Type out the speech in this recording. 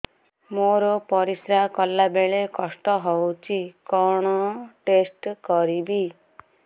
ମୋର ପରିସ୍ରା ଗଲାବେଳେ କଷ୍ଟ ହଉଚି କଣ ଟେଷ୍ଟ କରିବି